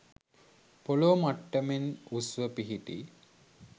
පොළෝ මට්ටමෙන් උස්ව පිහිටි